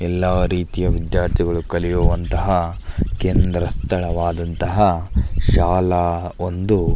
ಎಲ್ಲ ರೀತಿಯ ವಿದ್ಯಾರ್ಥಿ ಗಳು ಕಲಿಯುವಂತಹ ಕೇಂದ್ರ ಸ್ಥಳವಾದಂತಹ ಶಾಲಾ ಒಂದು --